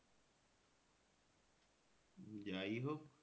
উম যাই হোক